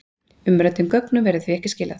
Umræddum gögnum verður því ekki skilað